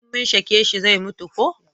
in mun shake shi zai mutu ko